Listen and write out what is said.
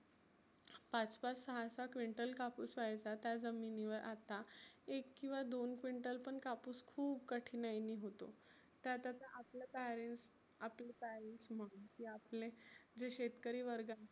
पाच पाच सहा सहा क्विंटल कापुस व्हायचा त्या जमिनीवर आता एक किंवा दोन क्विंटल पण कापुस खुप कठिनाईने होतो. त्यात आता आपले parents आपले जे शेतकरी वर्ग